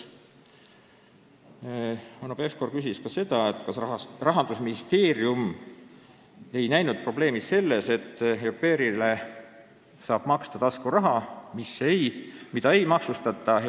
Hanno Pevkur küsis ka seda, kas Rahandusministeerium ei näe probleemi selles, et au pair'ile saab maksta taskuraha, mida ei maksustata.